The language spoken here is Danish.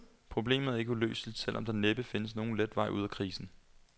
Problemet er ikke uløseligt, selv om der næppe findes nogen let vej ud af krisen.